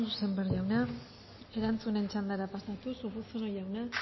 eskerrik asko sémper jauna erantzunen txandara pasatuz urruzuno jauna